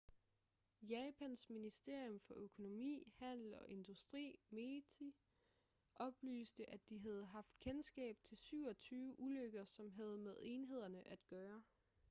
japans ministerium for økonomi handel og industri meti oplyste at de havde haft kendskab til 27 ulykker som havde med enhederne at gøre